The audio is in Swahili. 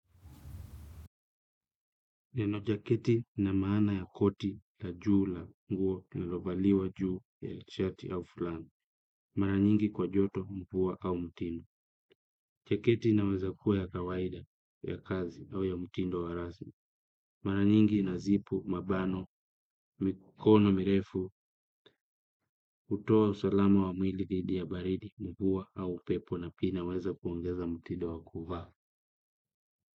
Nenojaketi na maana ya koti la juu la nguo na lovaliwa juu ya shati au fulana. Mara nyingi kwa joto mvuwa au mtindo. Jaketi naweza kuwa ya kawaida ya kazi au ya mtindo wa razmi. Mara nyingi na zipu, mabano, mikono, mirefu, utoa usalama wa mwili didhi ya baridi mvuwa au upepo na pia inaweza kuongeza mtindo wa kuva.